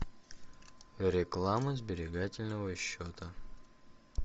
реклама сберегательного счета